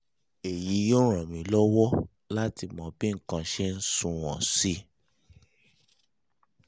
èyí yóò ràn wá lọ́wọ́ láti mọ bí nǹkan ṣe ń sunwọ̀n sí i